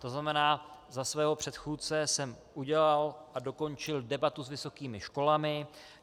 To znamená, za svého předchůdce jsem udělal a dokončil debatu s vysokými školami.